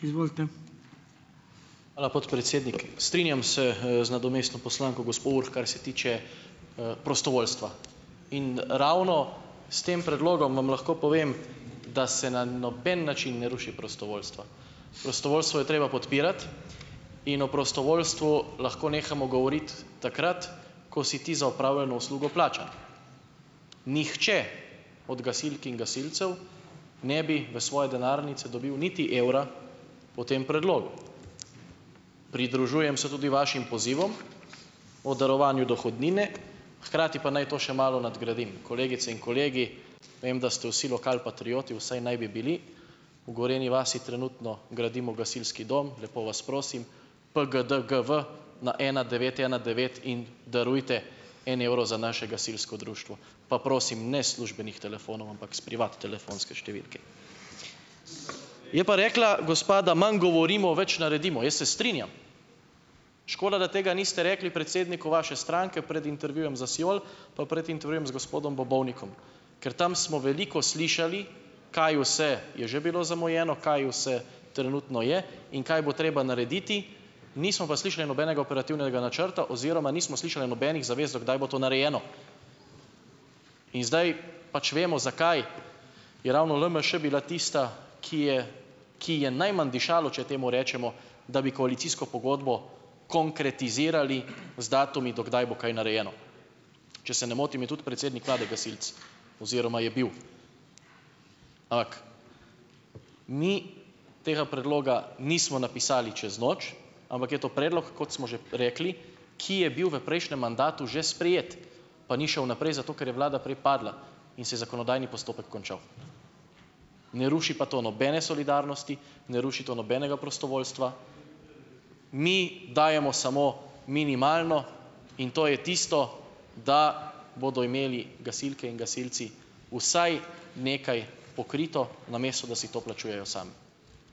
Hvala, podpredsednik. Strinjam se, z nadomestno poslanko gospo Urh, kar se tiče, prostovoljstva in ravno s tem predlogom vam lahko povem, da se na noben način ne ruši prostovoljstva. Prostovoljstvo je treba podpirati in o prostovoljstvu lahko nehamo govoriti takrat, ko si ti za opravljeno uslugo plačan. Nihče od gasilk in gasilcev ne bi v svoje denarnice dobil niti evra po tem predlogu. Pridružujem se tudi vašim pozivom o darovanju dohodnine, hkrati pa naj to še malo nadgradim, kolegice in kolegi. Vem, da ste vsi lokalpatrioti, vsaj naj bi bili, v Gorenji vasi trenutno gradimo gasilski dom, lepo vas prosim, PGDGV na ena devet ena devet in darujte en evro za še naše gasilsko društvo, pa prosim, ne s službenih telefonov, ampak s privat telefonske številke. Je pa rekla gospa, da manj govorimo, več naredimo. Jaz se strinjam. Škoda, da tega niste rekli predsedniku vaše stranke pred intervjujem za Siol, pa pred intervjujem z gospodom Bobovnikom, ker tam smo veliko slišali, kaj vse je že bilo zamujeno, kaj vse trenutno je in kaj bo treba narediti, nismo pa slišali nobenega operativnega načrta oziroma nismo slišali nobenih zavez, do kdaj bo to narejeno. In zdaj pač vemo, zakaj je ravno LMŠ bila tista, ki je ki ji je najmanj dišalo, če temu rečemo, da bi koalicijsko pogodbo konkretizirali z datumi, do kdaj bo kaj narejeno. Če se ne motim, je tudi predsednik vlade gasilec oziroma je bil, mi tega predloga nismo napisali čez noč, ampak je to predlog, kot smo že rekli, ki je bil v prejšnjem mandatu že sprejet, pa ni šel naprej zato, ker je vlada prej padla in se je zakonodajni postopek končal. Ne ruši pa to nobene solidarnosti, ne ruši to nobenega prostovoljstva, mi dajemo samo minimalno, in to je tisto, da bodo imeli gasilke in gasilci vsaj nekaj pokrito, namesto da si to plačujejo sami.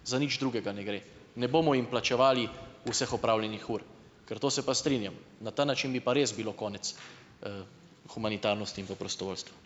Za nič drugega ne gre. Ne bomo jim plačevali vseh opravljenih ur, ker to se pa strinjam, na ta način bi pa res bilo konec humanitarnosti in pa prostovoljstva.